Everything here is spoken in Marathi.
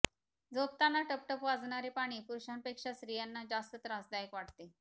झोपताना टपटप वाजणारे पाणी पुरूषांपेक्षा स्त्रीयांना जास्तं त्रासदायक वाटते